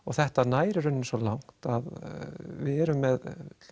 þetta nær í rauninni svo langt að við erum með